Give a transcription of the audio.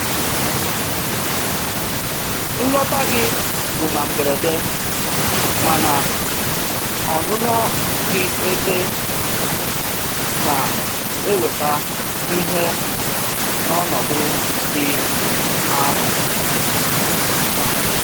Nlọta gị bụ na mberede, mana ọnụnọ gị ebe na-eweta ihe n'ọnọdụ dị arụ.